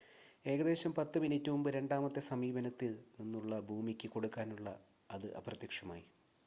ഏകദേശം 10 മിനിറ്റ് മുമ്പ് രണ്ടാമത്തെ സമീപനത്തിൽ നിന്നുള്ള ഭൂമിയ്ക്ക് കൊടുക്കാനുള്ള അത് അപ്രത്യക്ഷമായി